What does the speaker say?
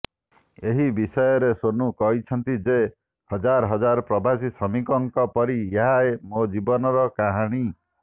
ଏହି ବିଷୟରେ ସୋନୁ କହିଛନ୍ତି ଯେ ହଜାର ହଜାର ପ୍ରବାସୀ ଶ୍ରମିକଙ୍କ ପରି ଏହା ମୋ ଜୀବନର କାହାଣୀ